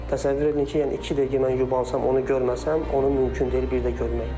Təsəvvür eləyin ki, yəni iki dəqiqə mən yubansam onu görməsəm, onu mümkün deyil bir də görmək.